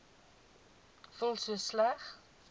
voel so sleg